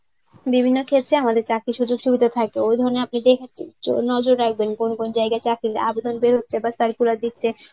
বিভিন্ন ক্ষেত্রে আমাদের চাকরির সুযোগ সুবিধা থাকে. ওই ধরনের আপনি নজর রাখবেন. কোন কোন জায়গায় চাকরির আবেদন বের হচ্ছে বা circular দিচ্ছে.